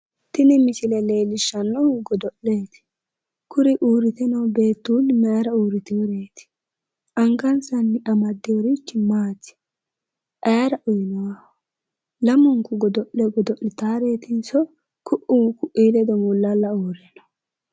Tini misile leellishshaahu godo'leeti. Kuri uurrite noo beettuulli mayura uurritiworeeti? Angansanni amaddiworichi maati? Ayira uyinayiho? Lamunku godo'le Godo'litaareetinso ku'u ku'ii ledo mullalla uurritiwo?